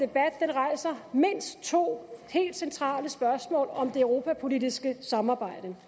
rejser mindst to helt centrale spørgsmål om det europapolitiske samarbejde